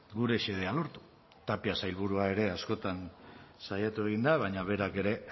gure xedea lortu tapia sailburua ere askotan saiatu egin da baina berak ere